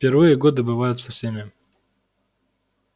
в первые годы бывает со всеми